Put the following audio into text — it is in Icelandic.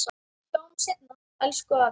Sjáumst seinna, elsku afi.